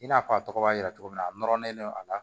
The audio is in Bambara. I n'a fɔ a tɔgɔ b'a yira cogo min na a nɔrɔlen no a la